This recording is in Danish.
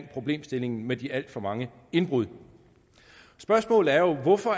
problemstillingen med de alt for mange indbrud spørgsmålet er jo hvorfor